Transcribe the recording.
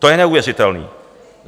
To je neuvěřitelé!